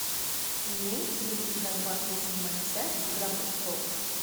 имеется ли у тебя двадцать седьмая часть игра престолов